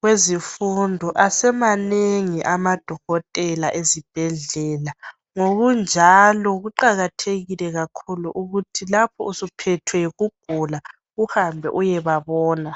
kwezi fundo asemanengi amadokotela ezibhedlela ngokunjalo kuqakathekile kakhulu ukuthi lapho usuphethwe yikugula uhambe uyebabona